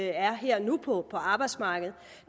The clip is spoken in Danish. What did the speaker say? er her og nu på på arbejdsmarkedet